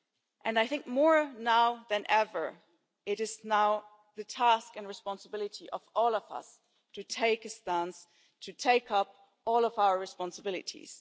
And I think more now than ever, it is now the task and responsibility of all of us to take a stance and to take up all of our responsibilities.